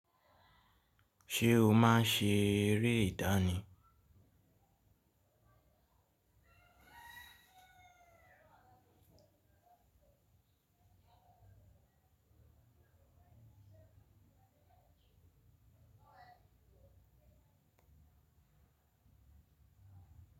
Ṣé o máa ń ṣe eré ìdánì?